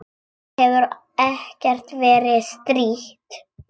Þér hefur ekkert verið strítt?